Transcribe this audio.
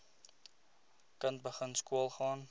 kind begin skoolgaan